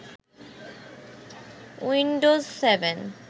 Windows seven